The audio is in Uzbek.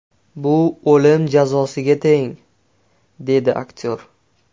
Bu o‘lim jazosiga teng”, − dedi aktyor.